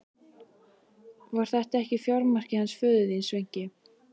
Var þetta ekki fjármarkið hans föður þíns, Sveinki?